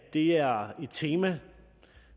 det er et tema